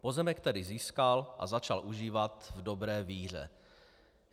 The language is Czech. Pozemek tedy získal a začal užívat v dobré víře.